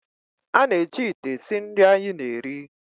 A na-eji ite esi nri anyị na-eri